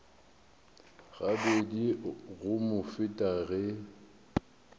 gabedi go mo feta ge